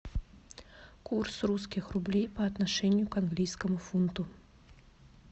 курс русских рублей по отношению к английскому фунту